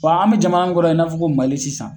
Wa an bɛ jamana min kɔrɔ i n'a fɔ ko MALI sisan.